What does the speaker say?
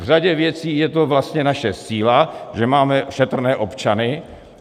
V řadě věcí je to vlastně naše síla, že máme šetrné občany.